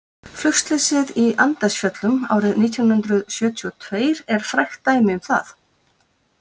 Flugslysið í Andesfjöllum árið nítján hundrað sjötíu og tveir er frægt dæmi um það.